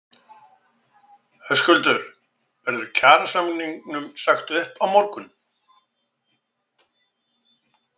Höskuldur: Verður kjarasamningum sagt upp á morgun?